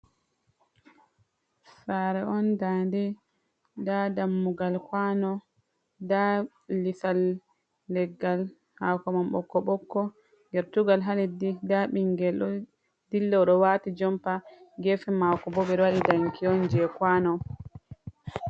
Saare on nda nde, nda dammugal kwano, nda lisal leggal hakoman bokko bokko, gertugal ha leddi, nda ɓingel ɗo dilla ɗo wati jompa, gefe mako bo ɓe ɗo waɗi danki on je kwano.